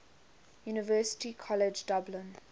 university college dublin